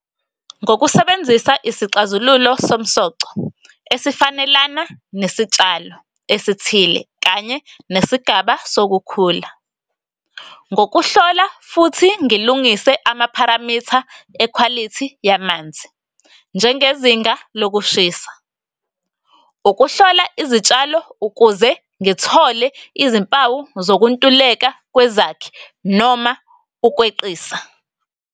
Ngokusebenzisa isixazululo somsoco esifanelana nesitshalo esithile kanye nesigaba sokukhula, ngokuhlola futhi ngilungise amapharamitha e-quality yamanzi njengezinga lokushisa, ukuhlola izitshalo ukuze ngithole izimpawu zokuntuleka kwezakhi noma ukweqisa.